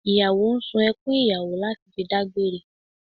Ìyàwó ń sun ẹkùn ìyàwó láti fi dágbére